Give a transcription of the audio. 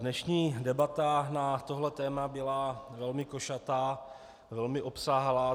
Dnešní debata na tohle téma byla velmi košatá, velmi obsáhlá.